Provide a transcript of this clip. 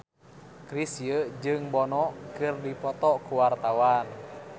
Chrisye jeung Bono keur dipoto ku wartawan